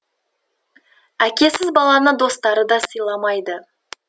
әкесіз баланы достары да сыйламайды